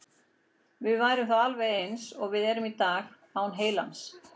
Við værum þá alveg eins og við erum í dag, en án heilans.